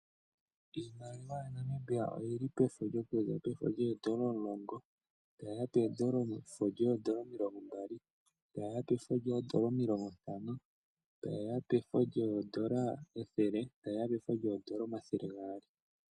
Iimaliwa yaNamibia oyili pefo lyoondola omulongo, etayi ya pefo lyoondola omilongo mbali, etaye ya pefo lyoondola omilongo ntano, etaye ya pefo lyoondola ethele noshowo efo lyoondola omathele gaali.